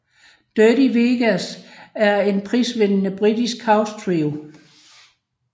Dirty Vegas er en prisvindende britisk house trio